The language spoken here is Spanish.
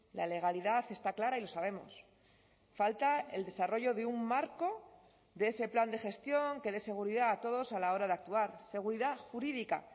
la legalidad está clara y lo sabemos falta el desarrollo de un marco de ese plan de gestión que dé seguridad a todos a la hora de actuar seguridad jurídica